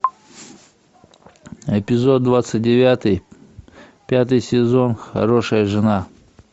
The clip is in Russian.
эпизод двадцать девятый пятый сезон хорошая жена